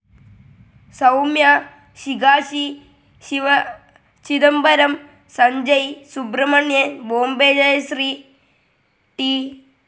Soumya, Srikashi Sivachidambaram, Sanjay Subramanian Bombay Jayashri, T.